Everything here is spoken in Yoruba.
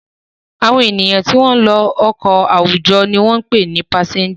Àwọn ènìyàn tí wọ́n ń lo ọkọ̀ àwùjọ ni wọ́n ń pè ní pásẹ́ńjà.